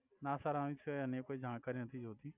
ના સર આની સિવાય અન્ય કોઇ જાણકારી નથી જોતી